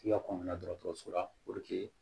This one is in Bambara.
K'i ka kɔngɔ na dɔgɔtɔrɔso la